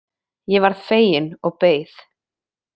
Ég varð fegin og beið.